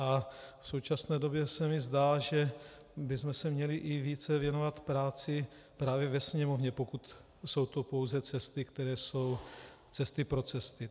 A v současné době se mi zdá, že bychom se měli i více věnovat práci právě ve Sněmovně, pokud jsou to pouze cesty, které jsou cesty pro cesty.